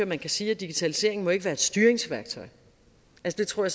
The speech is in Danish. man kan sige at digitaliseringen ikke må være et styringsværktøj jeg tror